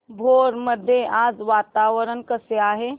भोर मध्ये आज वातावरण कसे आहे